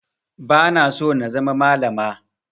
Ba na so na zama malama